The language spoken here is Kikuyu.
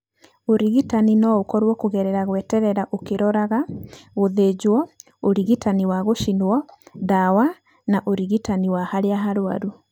Ũrigitani no ũkorwo kũgerera gweterera ũkĩroraga, gũthĩnjwo, ũrigitani wa gũcinwo, ndawa na ũrigitani wa harĩa harwaru.